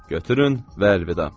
Götürün və əlvida.